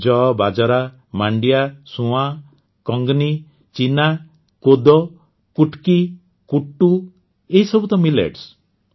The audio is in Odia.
ଯଅ ବାଜରା ମାଣ୍ଡିଆ ସୁଆଁ କଙ୍ଗନି ଚୀନା କୋଦୋ କୁଟ୍କି କୁଟ୍ଟୁ ଏହିସବୁ ତ ମିଲେଟ୍ସ